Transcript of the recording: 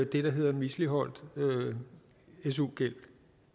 det der hedder misligholdt su gæld